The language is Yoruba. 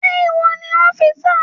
Ṣé ìwọ ni ọ́físà?